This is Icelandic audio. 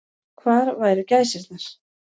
Og hvar væru gæsirnar.